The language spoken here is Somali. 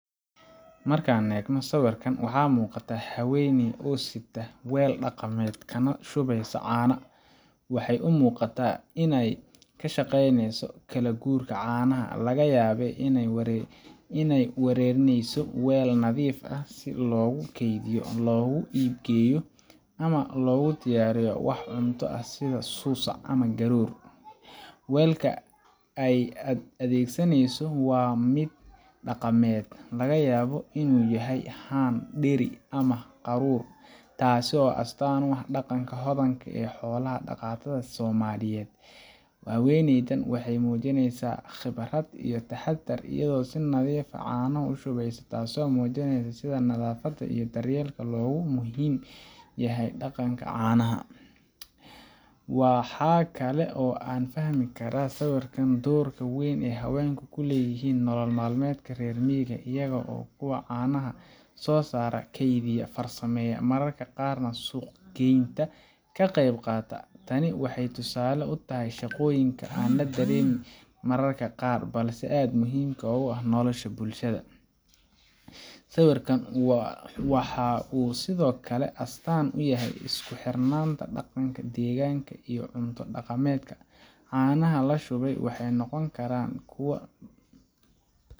Marka aan eegno sawirkan, waxaa muuqata haweeney oo sita weel dhaqameed, kana shubaysa caano. Waxay u muuqataa inay ka shaqeyneyso kala guurka caanaha – laga yaabee inay u wareyneyso weel nadiif ah si loogu keydiyo, loogu iib geeyo, ama loogu diyaariyo wax cunto ah sida suusac ama garoor. Weelka ay adeegsaneyso waa mid dhaqameed laga yaabo inuu yahay haan, dheri ama qaruur taasoo astaan u ah dhaqanka hodanka ah ee xoola dhaqatada Soomaaliyeed. Haweeneyda waxay muujiinaysaa khibrad iyo taxaddar iyadoo si nadiif ah caanaha u shubaysa, taasoo muujinaysa sida nadaafadda iyo daryeelka loogu muhiim yahay dhaqanka caanaha. Waxa kale oo aan ka fahmi karnaa sawirkan doorka weyn ee haweenku ku leeyihiin nolol maalmeedka reer miyiga iyaga oo ah kuwa caanaha soo saara, keydiya, farsameeya, mararka qaarna suuq geynta ka qayb qaata. Tani waxay tusaale u tahay shaqooyinka aan la dareemin mararka qaar, balse aad muhiim u ah nolosha bulshada. Sawirkan waxa uu sidoo kale astaan u yahay isku xirnaanta dhaqanka, deegaanka, iyo cunto dhaqameedka. Caanaha la shubayo waxay noqon karaan kuwo